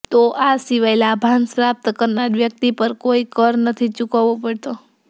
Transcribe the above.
તો આ સિવાય લાભાંશ પ્રાપ્ત કરનારા વ્યક્તિ પર કોઈ કર નથી ચૂકવવો પડતો